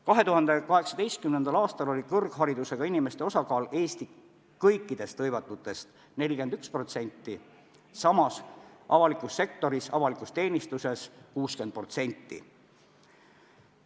2018. aastal oli Eestis kõrgharidusega inimeste osakaal kõikide hõivatute seas 41%, samas avalikus sektoris, avalikus teenistuses 60%.